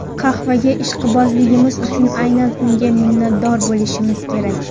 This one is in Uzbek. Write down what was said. Qahvaga ishqibozligimiz uchun aynan unga minnatdor bo‘lishimiz kerak.